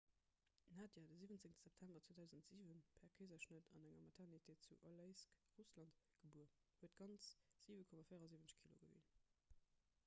d'nadia de 17. september 2007 per keeserschnëtt an enger maternité zu aleisk russland gebuer huet ganz 7,74 kilo gewien